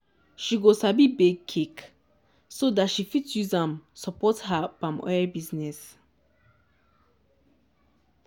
she go sabi bake cake so dat she fit use am support her palm oil business.